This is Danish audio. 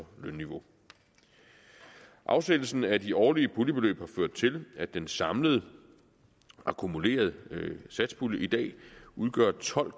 lønniveau afsættelsen af de årlige puljebeløb har ført til at den samlede akkumulerede satspulje i dag udgør tolv